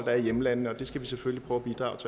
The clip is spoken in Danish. er i hjemlandene og det skal vi selvfølgelig prøve